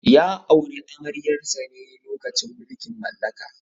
Ya auri amaryar sa ne lokacin mulkin mallaka.